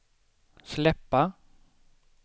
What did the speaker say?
släppa